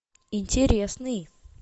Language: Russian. интересный